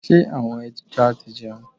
Ṣé àwọn ẹja ti jẹun?